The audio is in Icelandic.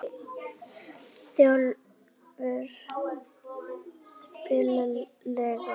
Stórólfur, spilaðu lag.